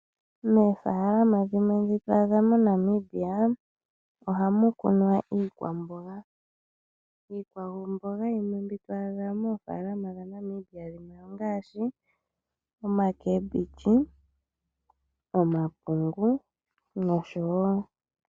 Moofalama dhimwe ndhi to adha moNamibia ohamu kunwa iikwamboga, iikwamboga yimwe mbi to adha moofalama dhaNamibia ongaashi oomboga, omapungu, nosho woo.